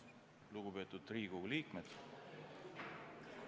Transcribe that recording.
Lugupeetud Riigikogu liikmed!